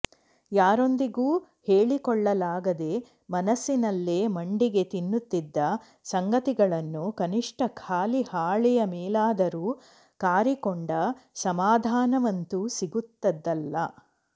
ಯಾರೊಂದಿಗೂ ಹೇಳಿಕೊಳ್ಳಲಾಗದೆ ಮನಸ್ಸಿನಲ್ಲೇ ಮಂಡಿಗೆ ತಿನ್ನುತ್ತಿದ್ದ ಸಂಗತಿಗಳನ್ನು ಕನಿಷ್ಠ ಖಾಲಿ ಹಾಳೆಯ ಮೇಲಾದರೂ ಕಾರಿಕೊಂಡ ಸಮಾಧಾನವಂತೂ ಸಿಗುತ್ತದಲ್ಲ